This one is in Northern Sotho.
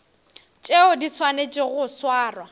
tšeo di swanetšego go swarwa